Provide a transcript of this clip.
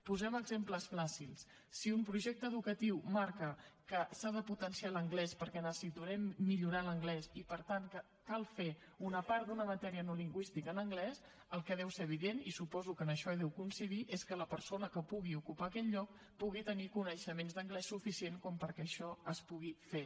posem exemples fàcils si un projecte educatiu marca que s’ha de potenciar l’anglès perquè necessitem millorar l’anglès i per tant que cal fer una part d’una matèria no lingüística en anglès el que deu ser evident i suposo que en això hi deu coincidir és que la persona que pugui ocupar aquell lloc tingui coneixements d’anglès suficients perquè això es pugui fer